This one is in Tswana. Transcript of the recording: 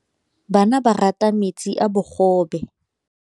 Bana ba rata metsi a mogobe.